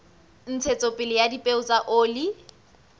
ntshetsopele ya dipeo tsa oli